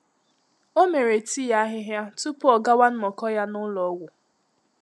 Ọ́ mèrè tii àhị́hị́à túpù ọ́ gàwá nnọ́kọ́ yá n’ụ́lọ́ ọ́gwụ́.